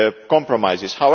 of compromises.